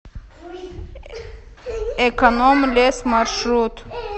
эконом лес маршрут